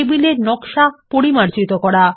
টেবিলের নকশা পরিমার্জিত করা